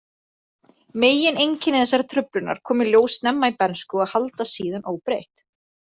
Megineinkenni þessarar truflunar koma í ljós snemma í bernsku og haldast síðan óbreytt.